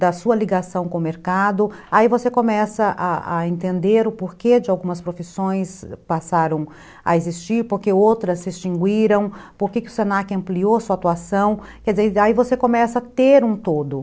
da sua ligação com o mercado, aí você começa a a a entender o porquê de algumas profissões passaram a existir, porque outras se extinguiram, porque o se na que ampliou sua atuação, quer dizer, aí você começa a ter um todo.